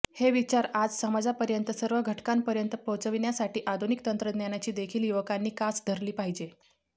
हे विचार आज समाजातील सर्व घटकांपर्यंत पोहोविचण्यासाठी आधुनिक तंत्रज्ञानाची देखील युवकांनी कास धरली पाहिजे